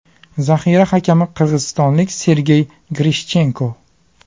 Zaxira hakami qirg‘izistonlik Sergey Grishchenko.